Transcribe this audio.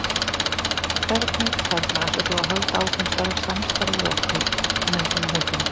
hvernig, þarna, ætlar þú að halda áfram samstarfi við okkur með svona hótunum?